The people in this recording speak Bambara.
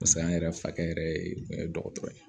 Paseke an yɛrɛ fakɛ yɛrɛ ye kun ye dɔgɔtɔrɔ ye